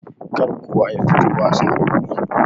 Kar kowa yafito wasa gobe.